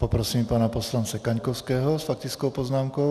Poprosím pana poslance Kaňkovského s faktickou poznámkou.